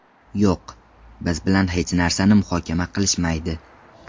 Yo‘q, biz bilan hech narsani muhokama qilishmaydi.